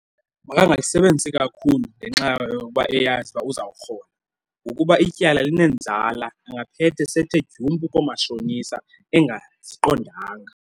Makangayisebenzisi kakhulu ngenxa yokuba eyazi ukuba uzawurhola, ngokuba ityala linenzala. Angaphethe sethe dyumpu koomatshonisa engaziqondanga.